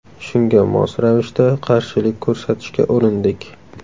Shunga mos ravishda qarshilik ko‘rsatishga urindik.